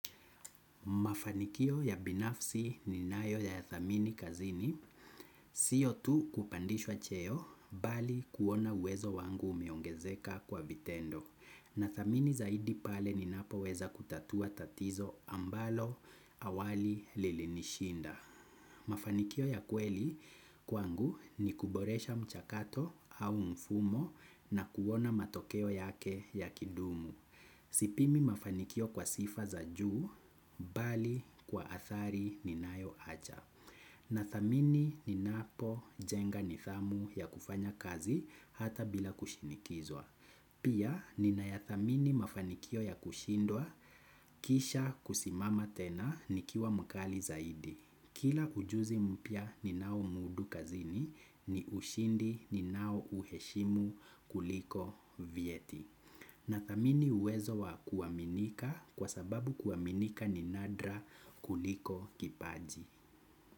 Mafanikio ya binafsi ninayo ya thamini kazini, sio tu kupandishwa cheo bali kuona wezo wangu umeongezeka kwa vitendo. Na thamini zaidi pale ninapo weza kutatua tatizo ambalo awali lilinishinda. Mafanikio ya kweli kwangu ni kuboresha mchakato au mfumo na kuona matokeo yake yakidumu. Sipimi mafanikio kwa sifa za juu, bali kwa athari ninayo acha. Nathamini ninapo jenga nithamu ya kufanya kazi hata bila kushinikizwa. Pia ninayathamini mafanikio ya kushindwa kisha kusimama tena nikiwa mkali zaidi. Kila ujuzi mpya ninao mudu kazini ni ushindi ninao uheshimu kuliko vieti. Na thamini uwezo wa kuaminika kwa sababu kuaminika ni nadra kuliko kipaji.